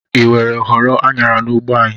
ị were ghọọrọ Anyara n'ugbo anyị?